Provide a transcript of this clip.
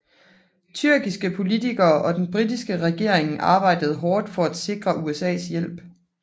Tyrkiske politikere og den britiske regering arbejdede hårdt for at sikre USAs hjælp